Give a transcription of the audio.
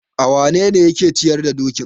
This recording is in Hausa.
awanene yake ciyar da dokin?